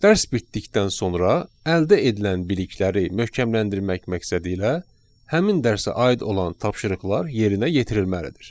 Dərs bitdikdən sonra əldə edilən bilikləri möhkəmləndirmək məqsədilə həmin dərsə aid olan tapşırıqlar yerinə yetirilməlidir.